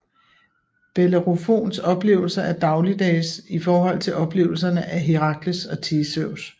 Bellerofons oplevelser er dagligdages i forhold til oplevelserne af Herakles og Theseus